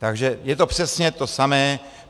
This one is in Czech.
Takže je to přesně to samé.